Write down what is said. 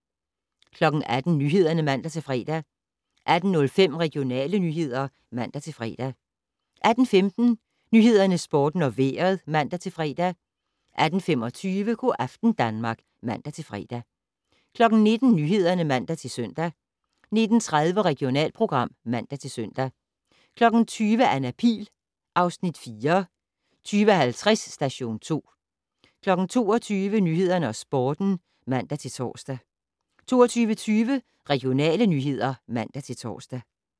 18:00: Nyhederne (man-fre) 18:05: Regionale nyheder (man-fre) 18:15: Nyhederne, Sporten og Vejret (man-fre) 18:25: Go' aften Danmark (man-fre) 19:00: Nyhederne (man-søn) 19:30: Regionalprogram (man-søn) 20:00: Anna Pihl (Afs. 4) 20:50: Station 2 22:00: Nyhederne og Sporten (man-tor) 22:20: Regionale nyheder (man-tor)